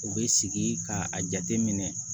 U bɛ sigi k'a jateminɛ